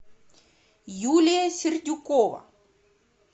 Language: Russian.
юлия сердюкова